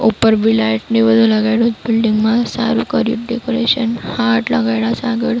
ઉપર બી લાઇટ ને બધુ લગાઇડુ બિલ્ડિંગ મા સારુ કર્યુ ડેકોરેશન હાર્ટ લગાઇડા છે આગળ.